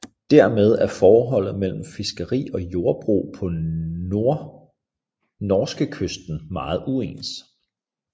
Dermed er forholdet mellem fiskeri og jordbrug på norskekysten meget uens